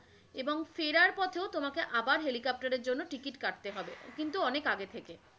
এবং ফেরার পথে তোমাকে আবার helicopter এর জন্য ticket কাটতে হবে, কিন্তু অনেকি আগে।